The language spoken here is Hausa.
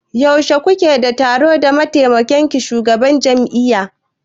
Yaushe kuke da taro da mataimakin shugabar jami'a?